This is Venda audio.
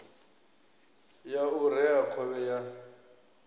ya u rea khovhe ya